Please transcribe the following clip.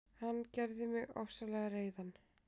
Hann gerði mig ofsalega reiðan.